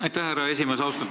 Aitäh, härra esimees!